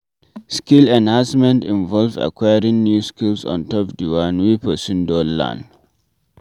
Skill enhancement invove acquiring new skills ontop di one wey person don learn